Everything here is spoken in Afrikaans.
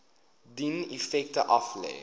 dien effekte aflê